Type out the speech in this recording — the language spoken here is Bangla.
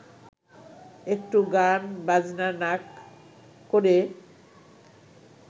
একটু গান-বাজনা না ক’ রে